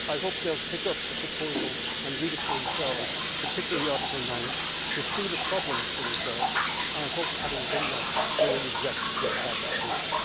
I hope they will pick up the proposal and read it for themselves particularly Article 9 to see the problems for themselves and I hope that, having done that, they will reject this bad proposal.